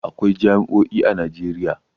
Akwai jami'o'i a Najeriya.